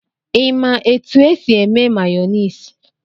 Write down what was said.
Ịma etu e si eme mayonisị?